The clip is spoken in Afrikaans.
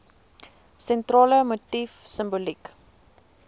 sentrale motief simboliek